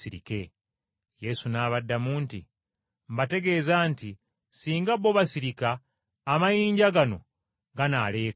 Yesu n’abaddamu nti, “Mbategeeza nti ssinga bo basirika, amayinja gano ganaaleekaana!”